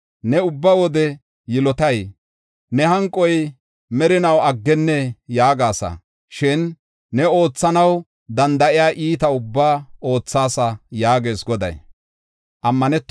Ne ubba wode yilotay? Ne hanqoy merinaw aggennee?’ yaagasa. Shin ne oothanaw danda7iya iita ubbaa oothaasa” yaagees Goday.